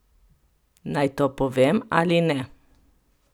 Naj to povem ali ne?